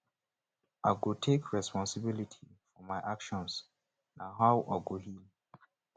i go take responsibility for my actions na how i go heal